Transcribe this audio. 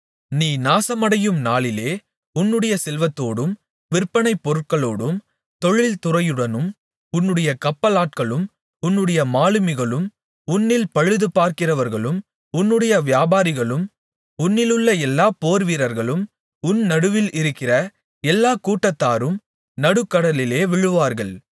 நீ நாசமடையும் நாளிலே உன்னுடைய செல்வத்தோடும் விற்பனைப் பொருட்களோடும் தொழில் துறையுடனும் உன்னுடைய கப்பலாட்களும் உன்னுடைய மாலுமிகளும் உன்னில் பழுதுபார்க்கிறவர்களும் உன்னுடைய வியாபாரிகளும் உன்னிலுள்ள எல்லா போர்வீரர்களும் உன் நடுவில் இருக்கிற எல்லாக்கூட்டத்தாரும் நடுக்கடலிலே விழுவார்கள்